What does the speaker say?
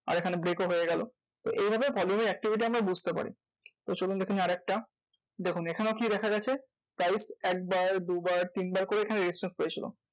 আর এখানে break ও হয়ে গেলো। তো এভাবে volume এর activity আমরা বুঝতে পারি। তো চলুন দেখে নিই আরেকটা, দেখুন এখানেও কি দেখা গেছে? price এক বার দু বার তিন বার করে এখানে resistance পেয়েছিলো।